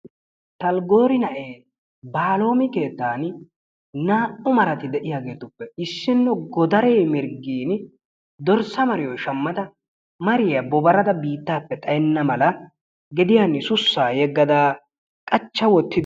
talgoori na'ee baalomi keettaaani naa'u marati de'iyageetuppe issinno godaree mirgiini dorssa mariyo shamada mariya bobarada xayenna mala gediyani shuchchaa yegada qachcha wotin